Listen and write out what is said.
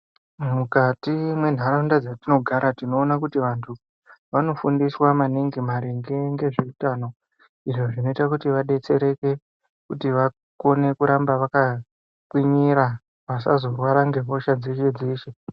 Mukati mwenharaunda dzatinogara tinoona kuti vantu vanofundiswa maningi maringe ngezveutano izvo zvinoita kuti vadetsereke kuti vakone kuramba vakakwinyira vasazorwara ngehosha dzeshe-dzeshe.